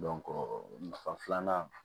nafa filanan